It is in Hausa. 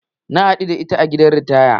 Na haɗu da ita a gidan ritaya.